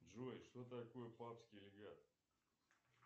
джой что такое папский легат